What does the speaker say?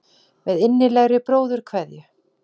Með innilegri bróðurkveðju.